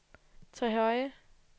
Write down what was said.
Trehøje